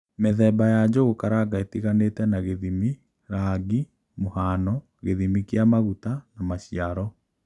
Mīthema ya Njũgukaranga itīganīte na gīthimi, rangi, mūhano, gīthimi kīa maguta, na maciaro.